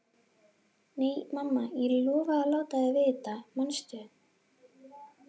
Nei, mamma, ég lofaði að láta þig vita, manstu?